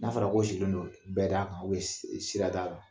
N'a fɔra ko sigilen don nbɛdakan sirada la